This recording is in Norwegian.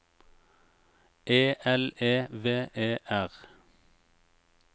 E L E V E R